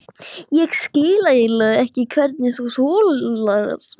Ég skil eiginlega ekki hvernig þú getur þolað mig.